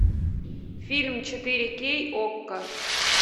фильм четыре кей окко